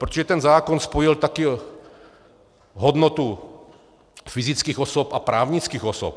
Protože ten zákon spojil taky hodnotu fyzických osob a právnických osob.